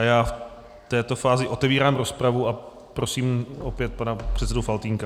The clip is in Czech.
A já v této fázi otevírám rozpravu a prosím opět pana předsedu Faltýnka.